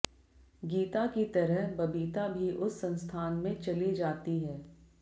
गीता की तरह बबीता भी उस संस्थान में चले जाती है